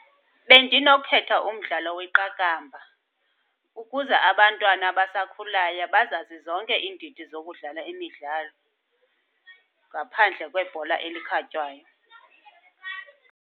Bendinokhetha umdlalo weqakamba ukuze abantwana abasakhulayo bazazi zonke iindidi zokudlala imidlalo, ngaphandle kwebhola elikhatywayo.